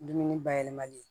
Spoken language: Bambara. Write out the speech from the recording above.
Dumuni bayɛlɛmali